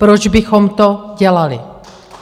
Proč bychom to dělali?